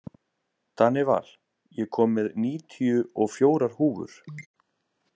Danival, ég kom með níutíu og fjórar húfur!